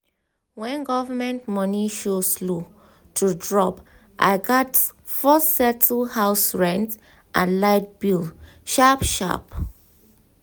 when government money slow to drop i gats first settle house rent and light bill sharp-sharp.